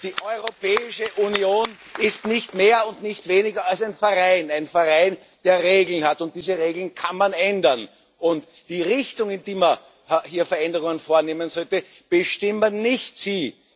Die Europäische Union ist nicht mehr und nicht weniger als ein Verein, der Regeln hat, und diese Regeln kann man ändern und die Richtung, in die wir hier Veränderungen vornehmen sollten, bestimmen nicht Sie!